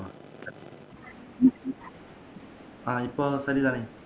ஆஹ் இப்போ தெளிவா இருக்கி